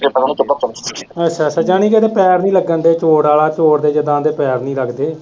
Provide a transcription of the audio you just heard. ਅੱਛਾ, ਜਨੀ ਕਿ ਇਹਦੇ ਪੈਰ ਨੀ ਲੱਗਣ ਦੇ ਚੋਰ ਆਲਾ, ਚੋਰ ਦੇ ਜਿਦਾ ਉਹਦੇ ਪੈਰ ਨੀ ਲੱਗਦੇ।